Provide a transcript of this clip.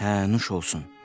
Hə, nuş olsun.